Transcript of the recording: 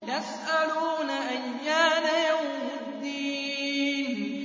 يَسْأَلُونَ أَيَّانَ يَوْمُ الدِّينِ